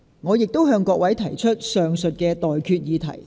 我現在向各位提出上述待決議題。